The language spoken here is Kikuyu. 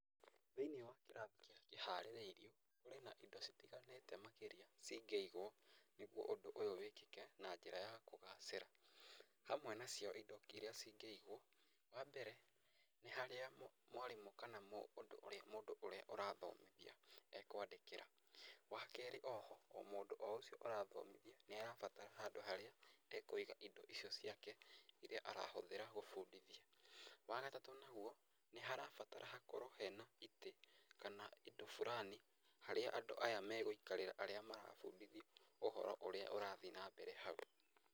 Thĩ~inĩ wa kĩrathi kĩrĩa kĩharĩrĩirio kũrĩ na indo citiganĩte makĩria cingĩigwo nĩgwo ũndũ ũyu wĩkĩke na njĩra ya kũgacĩra. Hamwe nacio indo iria cingĩigwo, wambere nĩ harĩa mwarĩmũ kana mũndũ ũrĩa ũrathomithia ekwandĩkĩra. Wakerĩ oho mũndũ o ũcio ũrathomithia nĩ arabatara handũ harĩa ekũiga indo icio ciake iria arahũthĩra gũbundithia. Wagatatũ naguo nĩ harabatara hakorwo hena itĩ kana indo fulani harĩa andũ magũikarĩra arĩa marabundithio ũhoro ũria ũrathi na mbere hau.